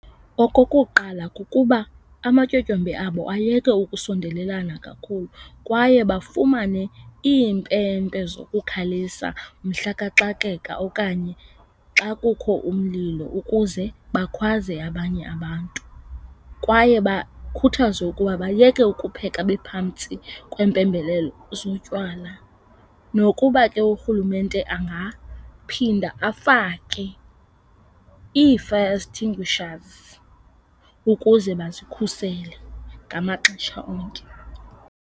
Okokuqala, kukuba amatyotyombe abo ayeke ukusondelelana kakhulu kwaye bafumane iimpempe zokukhalisa mhla kaxakeka okanye xa kukho umlilo ukuze bakhwaze abanye abantu. Kwaye bakhuthazwe ukuba bayeke ukupheka bephantsi kweempembelelo zotywala. Nokuba ke uRhulumente angaphinda afake ii-fire extinguishers ukuze bazikhusele ngamaxesha onke.